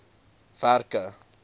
werke